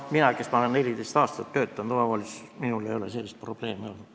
Minul, kes ma olen 14 aastat omavalitsuses töötanud, ei ole sellist probleemi olnud.